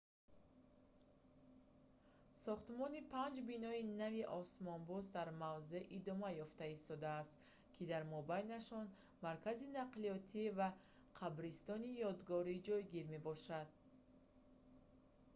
сохтмони панҷ бинои нави осмонбӯс дар мавзеъ идома ёфта истодааст ки дар мобайнашон маркази нақлиётӣ ва қабристони ёдгорӣ ҷойгир мебошанд